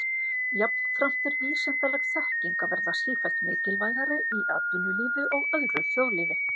Jafnframt er vísindaleg þekking að verða sífellt mikilvægari í atvinnulífi og öðru þjóðlífi.